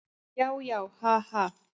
Já, já, ha, ha.